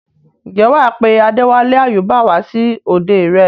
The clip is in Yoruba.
ǹjẹ́ wà á pe Adéwálé Àyúbà wá sí òde rẹ?